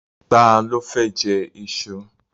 Ta ló fẹ́ jẹ iṣu?